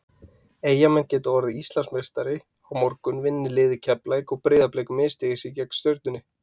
Eyjamenn geta orðið Íslandsmeistari á morgun vinni liðið Keflavík og Breiðablik misstígi sig gegn Stjörnunni.